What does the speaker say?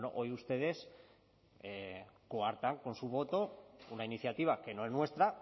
bueno hoy ustedes coartan con su voto una iniciativa que no es nuestra